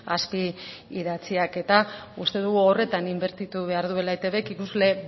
aski idatziak eta uste dugu horretan inbertitu behar duela etbk ikusle